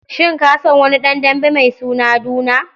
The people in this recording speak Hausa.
Shin ka san wani ɗan dambe mai suna Duna?